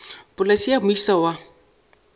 polase ye ya moisa wa